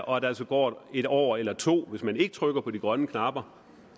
og at der altså går en år eller to hvis man ikke trykker på de grønne knapper